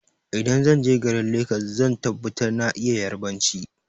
Idan zanje garin legas zan tabbata na iya yarbanci